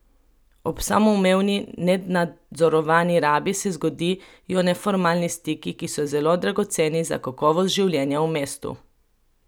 Ob samoumevni, nenadzorovani rabi se zgodijo neformalni stiki, ki so zelo dragoceni za kakovost življenja v mestu.